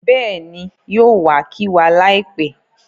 Bẹ́ẹ̀ni, yóò wa kí wa láìpẹ́